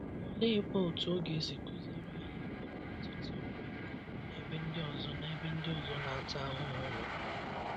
Oleekwa otú ọ ga-esi kụziere anyị inwe mmetụta ọmịiko n’ebe ndị ọzọ n’ebe ndị ọzọ na-ata ahụhụ nọ?